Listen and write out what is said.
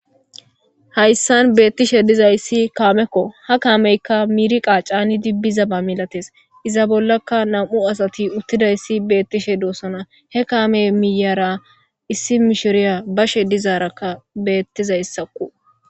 hayssan beettishe dizayssi kaamekko ha kaameykka miiri qa caanidi bizaba milates iza bollakka nam7u asati uttidayssi beettishe doossona he kaame miyara issi misheriya bashe dizaarakka beettizayssakku